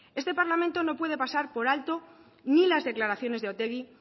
este parlamento no puede pasar por alto ni las declaraciones de otegi